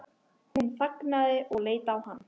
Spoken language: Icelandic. Hún þagnaði og leit á hann.